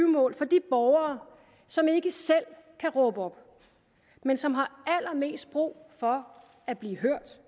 mål for de borgere som ikke selv kan råbe op men som har allermest brug for at blive hørt